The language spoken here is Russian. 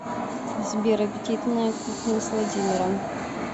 сбер аппетитная кухня с владимиром